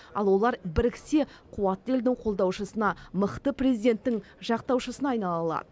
ал олар біріксе қуатты елдің қолдаушысына мықты президенттің жақтаушысына айнала алады